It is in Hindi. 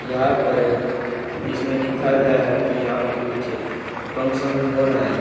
यहां पर इसमें दिखा गया है कि यहां पे कुछ फंक्शन हो रहा है।